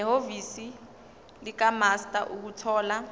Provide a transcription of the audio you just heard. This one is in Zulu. nehhovisi likamaster ukuthola